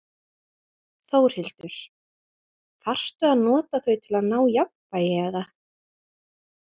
Þórhildur: Þarftu að nota þau til að ná jafnvægi, eða?